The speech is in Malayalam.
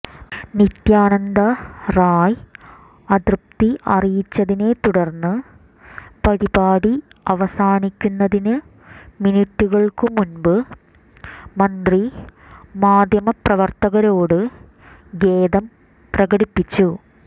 നിത്യാനന്ദ റായ് അതൃപ്തി അറിയിച്ചതിനെത്തുടർന്ന് പരിപാടി അവസാനിക്കുന്നതിനു മിനിറ്റുകൾക്കു മുൻപ് മന്ത്രി മാധ്യമപ്രവർത്തകരോട് ഖേദം പ്രകടിപ്പിച്ചു